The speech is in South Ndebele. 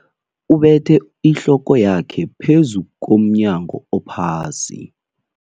Ubethe ihloko yakhe phezu komnyango ophasi.